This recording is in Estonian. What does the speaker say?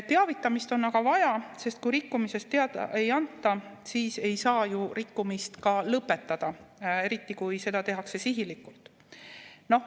Teavitamist on aga vaja, sest kui rikkumisest teada ei anta, siis ei saa ju rikkumist ka lõpetada, eriti kui seda tehakse sihilikult.